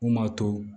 Mun b'a to